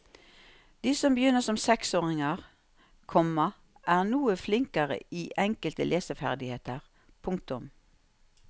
De som begynner som seksåringer, komma er noe flinkere i enkelte leseferdigheter. punktum